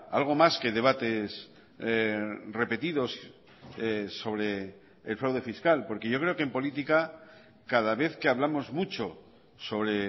algo más que debates repetidos sobre el fraude fiscal porque yo creo que en política cada vez que hablamos mucho sobre